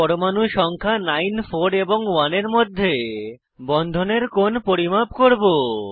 পরমাণু সংখ্যা 9 4 এবং 1 এর মধ্যে বন্ধনের কোণ পরিমাপ করব